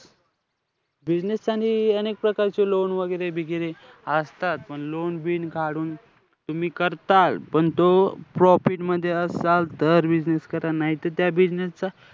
Business आणि अनेक प्रकारचे loan वैगेरे-बिगेरे असतात. पण loan बिन काढून तुम्ही करताल पण तो profit मध्ये असाल तर business करा नाही त त्या business चा